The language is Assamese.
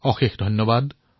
অশেষ ধন্যবাদ